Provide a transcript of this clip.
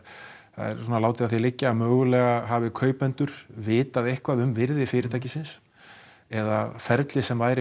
það er látið að því liggja að mögulega hafi kaupendur vitað eitthvað um virði fyrirtækisins eða ferlið sem væri